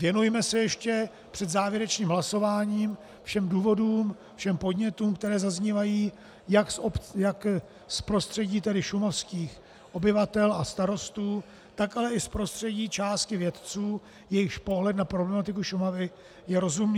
Věnujme se ještě před závěrečným hlasováním všem důvodům, všem podnětům, které zaznívají jak z prostředí šumavských obyvatel a starostů, tak ale i z prostředí části vědců, jejichž pohled na problematiku Šumavy je rozumný.